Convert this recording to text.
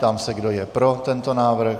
Ptám se, kdo je pro tento návrh.